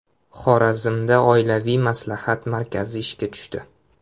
Xorazmda oilaviy maslahat markazi ishga tushdi.